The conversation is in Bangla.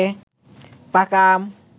পাকা আম